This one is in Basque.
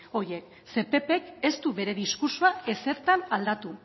horiek zeren eta ppk ez du bere diskurtsoa ezertan aldatu